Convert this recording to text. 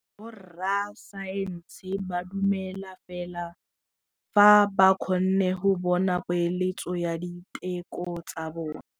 Borra saense ba dumela fela fa ba kgonne go bona poeletsô ya diteko tsa bone.